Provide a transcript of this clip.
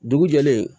Dugu jɛlen